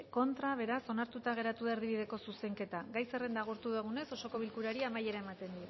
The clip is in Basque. contra beraz onartuta geratu da erdibideko zuzenketa gai zerrenda agortu dugunez osoko bilkurari amaiera ematen